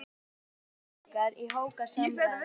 Þar eru tveir strákar í hrókasamræðum.